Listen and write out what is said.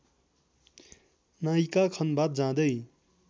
नायिका खन्भात जाँदै